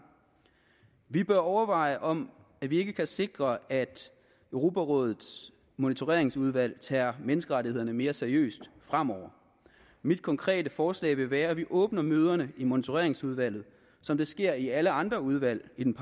vi bør overveje om vi ikke kan sikre at europarådets monitoreringsudvalg tager menneskerettighederne mere seriøst fremover mit konkrete forslag vil være at vi åbner møderne i monitoreringsudvalget som det sker i alle andre udvalg i den